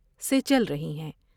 سے چل رہی ہیں ۔